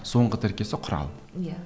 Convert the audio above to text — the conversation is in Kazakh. соңғы тіркесі құрал иә